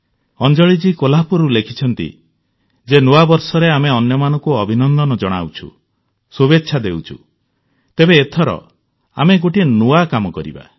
ଅଞ୍ଜଳିଜୀ କୋହ୍ଲାପୁରରୁ ଲେଖିଛନ୍ତି ଯେ ନୂଆବର୍ଷରେ ଆମେ ଅନ୍ୟମାନଙ୍କୁ ଅଭିନନ୍ଦନ ଜଣାଉଛୁ ଶୁଭେଚ୍ଛା ଦେଉଛୁ ତେବେ ଏଥର ଆମେ ଗୋଟିଏ ନୂଆ କାମ କରିବା